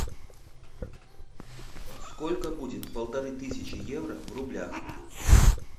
сколько будет полторы тысячи евро в рублях